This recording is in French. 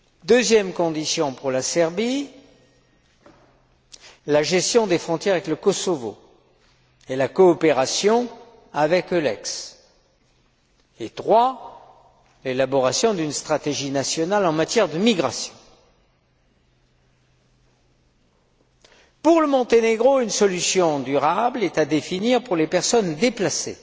Deuxième condition pour la Serbie, la gestion des frontières avec le Kosovo et la coopération avec EULEX, et trois, l'élaboration d'une stratégie nationale en matière de migration. Pour le Monténégro, une solution durable est à définir pour les personnes déplacées.